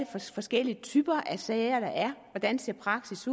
forskellige typer sager der er hvordan praksis